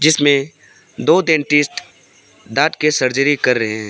जीसमें दो डेंटिस्ट दांत के सर्जरी कर रहे हैं।